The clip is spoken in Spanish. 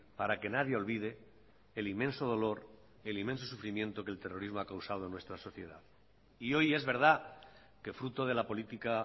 para que nadie olvide el inmenso dolor el inmenso sufrimiento que el terrorismo ha causado en nuestra sociedad y hoy es verdad que fruto de la política